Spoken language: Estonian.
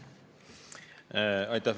Aitäh!